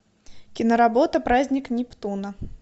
киноработа праздник нептуна